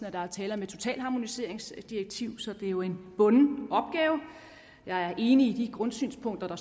at der er tale om et totalharmoniseringsdirektiv så det er jo en bunden opgave jeg er enig i de grundsynspunkter der